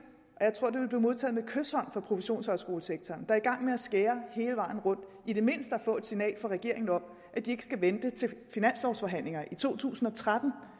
og modtaget med kyshånd fra professionshøjskolesektoren er i gang med at skære hele vejen rundt i det mindste at få et signal fra regeringen om at de ikke skal vente til finanslovforhandlingerne i to tusind og tretten